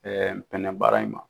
npɛnɛ baara in ma.